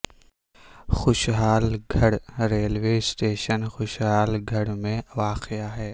خوشحال Garh railway station Khushhal Garh میں واقع ہے